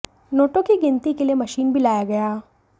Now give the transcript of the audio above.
नोटों की गिनती के लिए मशीन भी लाया गया